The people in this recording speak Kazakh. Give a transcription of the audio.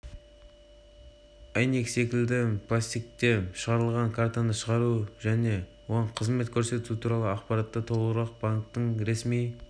әйнек секілді пластикте шығарылады картаны шығару және оған қызмет көрсету туралы ақпаратты толығырақ банктің ресми